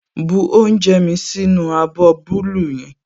Bu oúnjẹ mí sínú abọ́ búúlù yẹn